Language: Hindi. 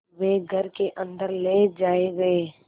वे घर के अन्दर ले जाए गए